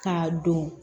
K'a don